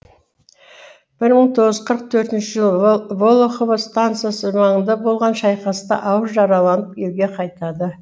бір мың тоғыз жүз қырық төртінші жылы волохово стансасы маңында болған шайқаста ауыр жараланып елге қайтады